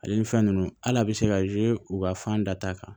Ale ni fɛn ninnu hali a bɛ se ka u ka fan da ta kan